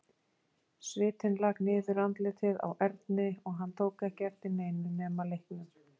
Svitinn lak niður andlitið á Erni og hann tók ekki eftir neinu nema leiknum.